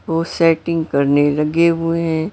वो सेटिंग करने लगे हुए है।